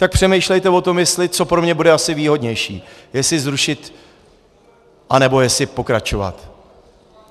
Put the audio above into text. Tak přemýšlejte o tom, co pro mě bude asi výhodnější, jestli zrušit, nebo jestli pokračovat.